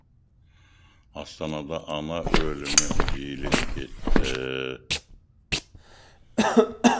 астанада ана өлімі жиілеп кетті